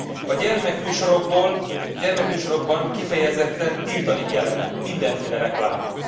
A gyermekműsorokban kifejezetten tiltani kellene mindenféle reklámot.